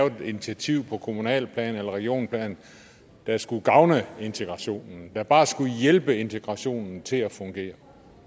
et initiativ på kommunalt plan eller regionalt plan der skulle gavne integrationen der bare skulle hjælpe integrationen til at fungere